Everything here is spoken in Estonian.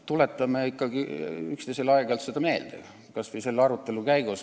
Tuletame ikkagi üksteisele aeg-ajalt seda meelde, kas või selle arutelu käigus.